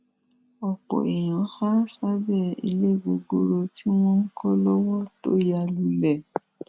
ọpọ èèyàn há sábẹ ilé gogoro tí wọn ń kọ lọwọ tó ya lulẹ